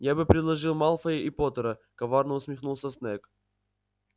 я бы предложил малфоя и поттера коварно усмехнулся снегг